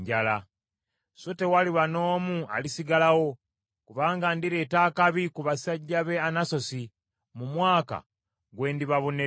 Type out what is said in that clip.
So tewaliba n’omu alisigalawo, kubanga ndireeta akabi ku basajja b’e Anasosi, mu mwaka gwe ndibabonererezaamu.”